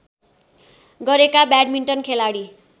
गरेका ब्याडमिन्टन खेलाडी